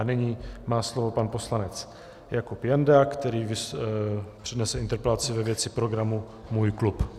A nyní má slovo pan poslanec Jakub Janda, který přednese interpelaci ve věci programu Můj klub.